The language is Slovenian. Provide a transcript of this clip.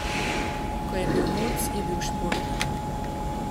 Ko je bil mulc, je bil športnik.